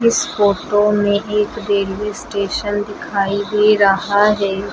इस फोटो में एक रेलवे स्टेशन दिखाई दे रहा है।